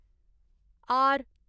R